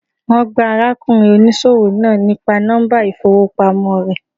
Wón gbá ara kùnrin oníṣòwò náà nípa nọ́mbà ìfowópamọ́ re